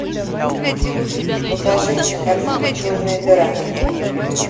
покажи кинокартину черная дыра